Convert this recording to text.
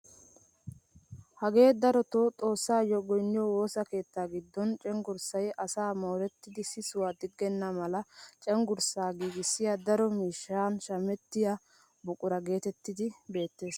Hagee darotoo xoossayoo goyniyoo woosa keettaa giddon cenggurssay asaa morettidi sisuwaa digenna mala cenggurssaa giigissiyaa daro miishshanshamettiyaa buquraa getettiyaa beettees!